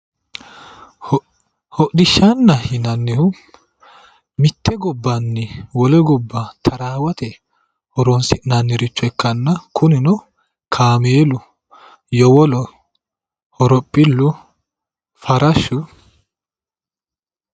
Hodhishaana yinanihu mite gobanni wole goba tarawate horonnisinaniricho ikana, kunino kaameelu, yowolo horophilu, farashshu